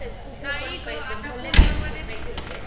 पैसेच कुठं पण पैसेच. भले वीस रुपये घेऊ दे.